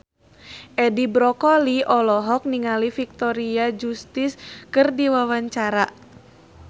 Edi Brokoli olohok ningali Victoria Justice keur diwawancara